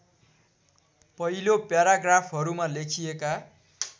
पहिलो प्याराग्राफहरूमा लेखिएका